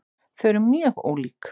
Þau eru mjög ólík.